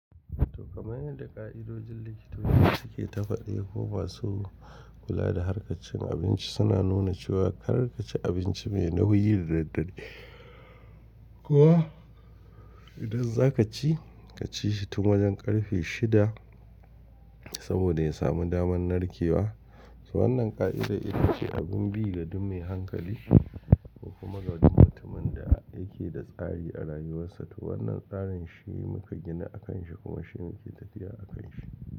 To kamar yadda ƙa'idojin likitoci suke ta faɗi ko basu kula da harkan cin abinci suna nuna cewa kar kaci abinci mai nauyi da daddare ko idan za ka ci, ka ci shi tun wajen ƙarfe shida saboda ya samu damar narkewa. To wannan ƙa'ida ita ce abin bi ga duk mai hankali ko kuma ga duk mutumin da yake da tsari a rayuwarsa. To wannan tsarin shi muka gina a kan shi kuma shi ne ke tafiya a kan shi.